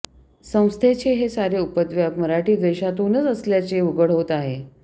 संस्थेचे हे सारे उपद्व्याप मराठी द्वेषातूनच असल्याचे उघड होत आहे